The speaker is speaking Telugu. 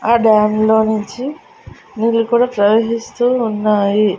ఆ డాం లో నుంచి నీళ్ళు కూడా ప్రవహిస్తూ ఉన్నాయి.